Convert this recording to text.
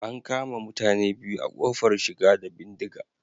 An kama mutane biyu a kofar shiga da bindiga